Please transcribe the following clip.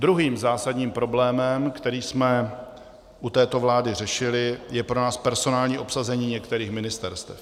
Druhým zásadním problémem, který jsme u této vlády řešili, je pro nás personální obsazení některých ministerstev.